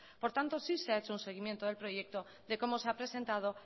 por tanto sí se ha hecho un seguimiento del proyecto de cómo se ha presentado